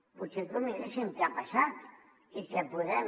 potser que miréssim què ha passat i què podem